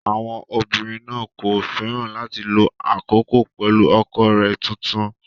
Àwọn obìnrin náà kò fẹ́ràn láti lo àkókò pẹ̀lú ọkọ rẹ̀ tuntun